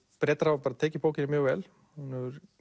Bretar hafa tekið bókinni mjög vel og hún hefur